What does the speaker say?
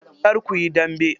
Kar kuyi dambe.